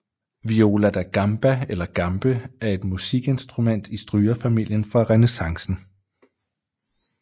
Viola da Gamba eller Gambe er et musikinstrument i strygerfamilien fra rennæssancen